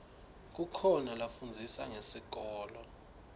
kukhoa lafundzisa ngesikolo